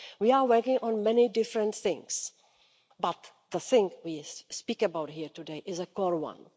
So we are working on many different things, but the thing we speak about here today is a core one.